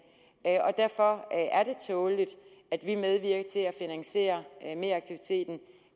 og derfor er det tåleligt at vi medvirker til at finansiere meraktiviteten